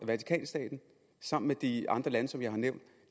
vatikanstaten sammen med de andre lande som jeg har nævnt